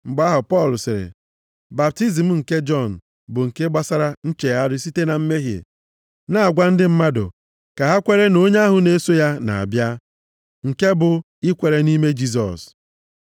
Mgbe ahụ, Pọl sịrị, “Baptizim Jọn bụ nke gbasara nchegharị site na mmehie, na-agwa ndị mmadụ ka ha kwere nʼonye ahụ na-eso ya na-abịa, nke bụ, ikwere nʼime Jisọs.”